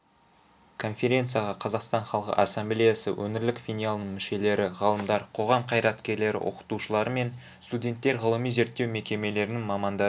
конференцияға қазақстан халқы ассамблеясы өңірлік филиалының мүшелері ғалымдар қоғам қайраткерлері оқытушылары мен студенттер ғылыми-зерттеу мекемелерінің мамандары